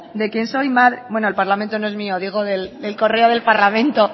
de quien soy madre bueno el parlamento no es mío digo el correo del parlamento